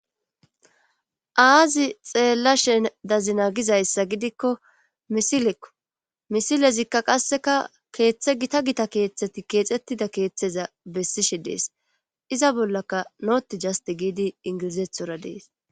Aazi xeella shen dazina gizayssa gidikko misilekko misilezikka qasseka keeththe gita gita keeththeti keexettida keeththeza bessishe dees iza bollaka nooti jasti giidi ingilizethora dees